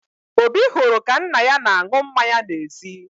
Obi hụrụ ka nna ya na-aṅụ mmanya n'ezi